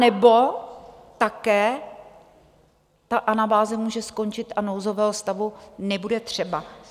Anebo také ta anabáze může skončit a nouzového stavu nebude třeba.